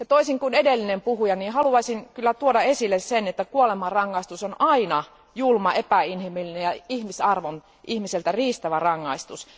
Toisin kuin edellinen puhuja, haluaisin tuoda esille sen, että kuolemanrangaistus on aina julma, epäinhimillinen ja ihmisarvon ihmiseltä riistävä rangaistus.